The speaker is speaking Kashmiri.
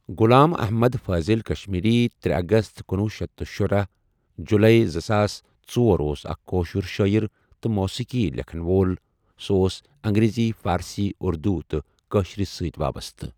غلام اَحمَد فاضل کشمیری ترے اَگَست کنۄہُ شیتھ تہٕ شُرہ جُلَے زٕساس ژۄر اوس اَکھ کٲشُر شٲعر تہ موٗسیٖقی لیکھن وول سہ اوس انگریزی، فارسی، اُردو تہِ کأشرس سۭتۍ وابسطہٕ۔